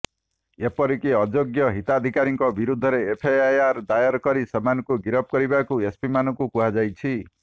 ଏପରିକି ଅଯୋଗ୍ୟ ହିତାଧିକାରୀଙ୍କ ବିରୋଧରେ ଏଫ୍ଆଇଆର ଦାୟର କରି ସେମାନଙ୍କୁ ଗିରଫ କରିବାକୁ ଏସ୍ପିମାନଙ୍କୁ କୁହାଯାଇଛି